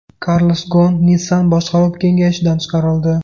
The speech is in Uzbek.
Karlos Gon Nissan boshqaruv kengashidan chiqarildi.